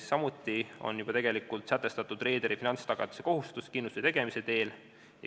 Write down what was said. Samuti on juba sätestatud reederi finantstagatiskohustus kindlustuse tegemise teel.